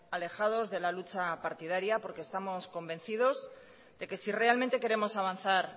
alejados de la lucha partidaria porque estamos convencido de que si realmente queremos avanzar